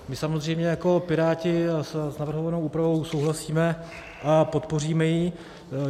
My samozřejmě jako Piráti s navrhovanou úpravou souhlasíme a podpoříme ji.